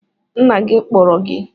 Nna gị kpọrọ gị